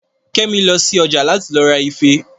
Kẹ́mi lọ sí ọjà láti lọ ra ife